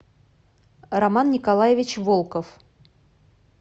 роман николаевич волков